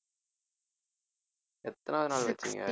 எத்தனாவது நாள் வச்சீங்க